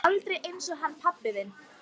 Og aldrei einsog hann pabbi þinn.